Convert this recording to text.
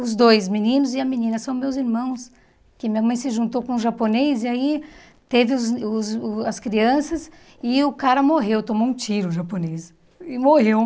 Os dois meninos e a menina são meus irmãos, que minha mãe se juntou com um japonês e aí teve os os uh as crianças e o cara morreu, tomou um tiro o japonês e morreu.